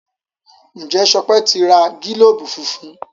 Njé Sope n ti rà gilobu fúnfún?